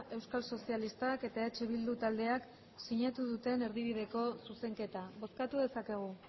euskal sozialistak eta eh bildu taldeak sinatu duten erdibideko zuzenketa bozkatu dezakegu